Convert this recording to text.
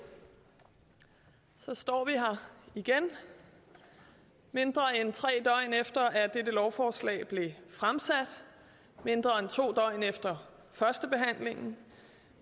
så står vi her igen mindre end tre døgn efter at dette lovforslag blev fremsat mindre end to døgn efter førstebehandlingen